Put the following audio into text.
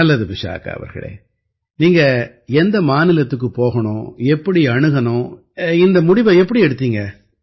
நல்லது விசாகா அவர்களே நீங்க எந்த மாநிலத்துக்குப் போகணும் எப்படி அணுகணும் இந்த முடிவை எப்படி எடுத்தீங்க